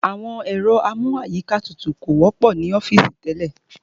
Ẹ̀rọ amú àyíká tutù kò wọ́pọ̀ ní àwọn ọ́fìsì tẹ́lẹ̀.